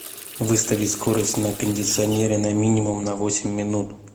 выставить скорость на кондиционере на минимум на восемь минут